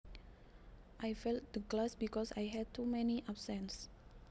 I failed the class because I had too many absences